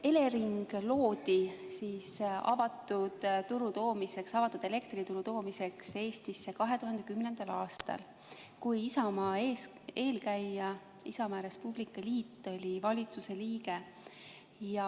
Elering loodi avatud elektrituru toomiseks Eestisse 2010. aastal, kui Isamaa eelkäija Isamaa ja Res Publica Liit oli valitsuse liige.